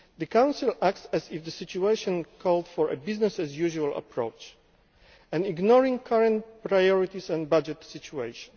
The Council acts as if the situation called for a business as usual' approach, ignoring current priorities and the budgetary situation.